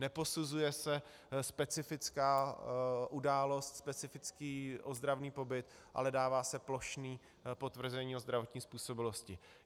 Neposuzuje se specifická událost, specifický ozdravný pobyt, ale dává se plošné potvrzení o zdravotní způsobilosti.